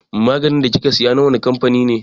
Maganin da kika siya na wane kamfani ne?